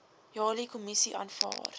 jali kommissie aanvaar